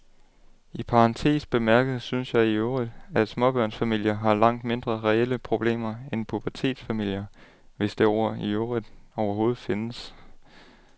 I parentes bemærket synes jeg i øvrigt, at småbørnsfamilier har langt mindre reelle problemer end pubertetsfamilier, hvis det ord i øvrigt overhovedet findes.